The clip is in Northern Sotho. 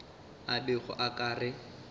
a bego a ka re